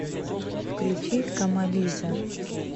включи камализа